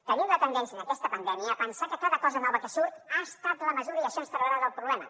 tenim la tendència en aquesta pandèmia a pensar que cada cosa nova que surt ha estat la mesura i això ens traurà del problema